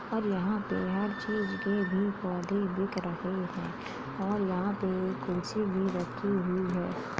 और यहाँं पे हर चीज के भी पौधे बिक रहे हैं और यहाँं पे एक कुर्सी भी रखी हुई है।